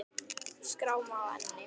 Skráma á enni.